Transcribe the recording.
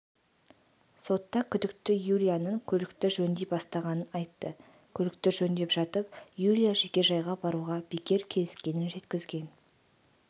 сотта күдікті юлияның көлікті жөндей бастағанын айтты көлікті жөндеп жатып юлия жекежайға баруға бекер келіскенін жеткізген